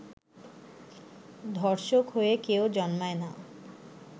ধর্ষক হয়ে কেউ জন্মায় না